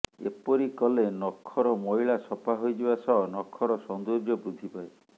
ଏପରି କଲେ ନଖର ମଇଳା ସଫା ହୋଇଯିବା ସହ ନଖର ସୈାନ୍ଦର୍ଯ୍ୟ ବୃଦ୍ଧିପାଏ